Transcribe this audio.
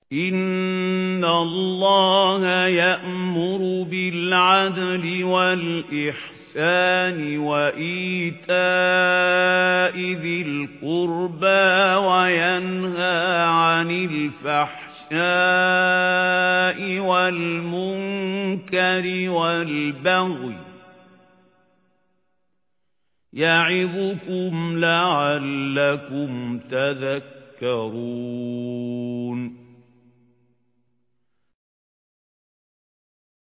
۞ إِنَّ اللَّهَ يَأْمُرُ بِالْعَدْلِ وَالْإِحْسَانِ وَإِيتَاءِ ذِي الْقُرْبَىٰ وَيَنْهَىٰ عَنِ الْفَحْشَاءِ وَالْمُنكَرِ وَالْبَغْيِ ۚ يَعِظُكُمْ لَعَلَّكُمْ تَذَكَّرُونَ